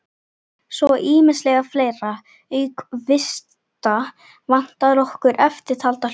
Svo er ýmislegt fleira: Auk vista vantar okkur eftirtalda hluti